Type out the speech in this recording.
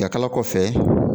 Yakala kɔfɛ.